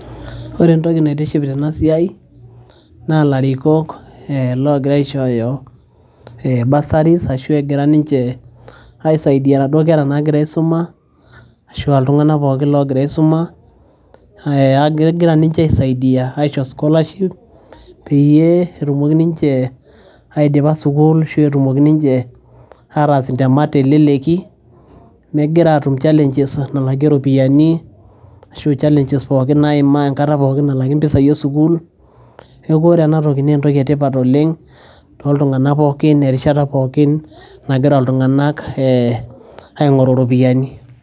Ore entoki naitiship tena siai, naa ilarikok ogira aishooyo Bursuries arashu egira ninje aisaidia inadui kera nagira aisuma, arashuu aa iltunganak pookin oo gira aisuma egira ninje aisaidia aisho scholarship peyie etumokini ninje aidipi arashu etumoki ninje ataas intemat teleleki megira aatum challenges oo ropiyiani arashuu challenges naa imaa enkata pookin nalaki empisai esukuul neeku ore ena naa entoki etipat oleng' too tunganak pookin eterishata pookin nagira iltunganak aingoru iropiyiani.